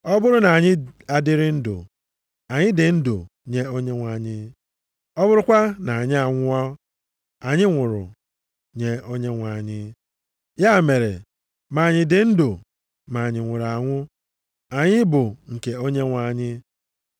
Ọ bụrụ na anyị adịrị ndụ, anyị dị ndụ nye Onyenwe anyị; ọ bụrụkwa na anyị anwụọ, anyị nwụrụ nye Onyenwe anyị; ya mere ma anyị dị ndụ ma anyị nwụrụ anwụ, anyị bụ nke Onyenwe anyị.